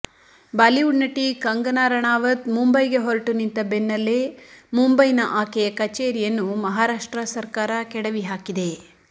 Bollywood ನಟಿ ಕಂಗನಾ ರಣಾವತ್ ಮುಂಬೈಗೆ ಹೊರಟು ನಿಂತ ಬೆನ್ನಲ್ಲೇ ಮುಂಬೈನ ಆಕೆಯ ಕಚೇರಿಯನ್ನುಮಹಾರಾಷ್ಟ್ರ ಸರ್ಕಾರ ಕೆಡವಿ ಹಾಕಿದೆ